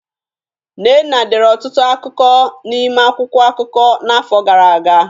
Nnenna dere ọtụtụ akụkọ n'ime akwụkwọ akụkọ n'afọ gara aga;